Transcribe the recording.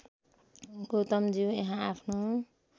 गौतमज्यू यहाँ आफ्नो